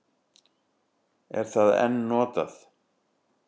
Er það enn notað?